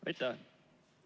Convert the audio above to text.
Aitäh!